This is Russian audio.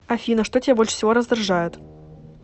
афина что тебя больше всего раздражает